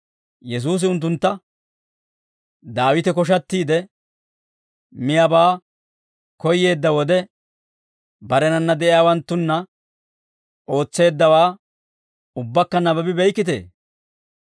Yesuusi unttuntta, «Daawite koshattiide, miyaabaa koyyeedda wode, barenanna de'iyaawanttunna ootseeddawaa ubbakka nabbabi beykkitee?